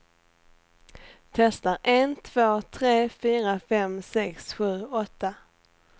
Testar en två tre fyra fem sex sju åtta.